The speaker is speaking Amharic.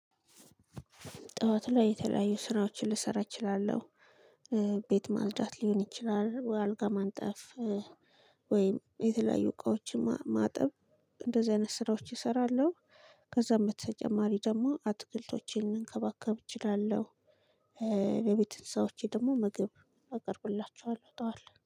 ጧት ላይ የተለያዩ ስራዎችን ልሰራ እችላለሁ። ቤት ማጽዳት ሊሆን ይችላል አልጋ ማንጠፍ ወይም የተለያዩ እቃዎችን ማጠብ እንደዚህ አይነት ስራዎች እሰራለሁ። ከዛ በተጨማሪ ደግሞ አትክልቶችን እንከባከብ እችላለሁ በቤት እንስስደ ደግሞ ምግብ አቅርብላችኋለሁ ጥዋት ላይ